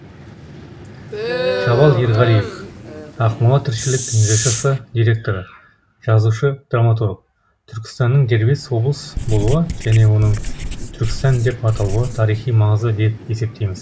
жабал ерғалиев ақмола тіршілік жшс директоры жазушы драматург түркістанның дербес облыс болуы және оның түркістан деп аталуы тарихи маңызды деп есептейміз